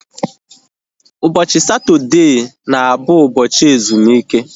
Ụbọchị Satọdee na abụ ụbọchị ezumike